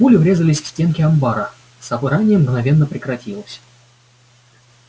пули врезались в стенку амбара собрание мгновенно прекратилось